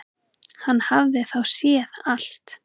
Hann hafði þá séð allt!